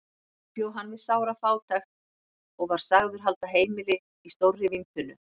Þar bjó hann við sára fátækt og var sagður halda heimili í stórri víntunnu.